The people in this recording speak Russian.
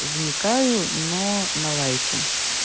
вникаю но на лайте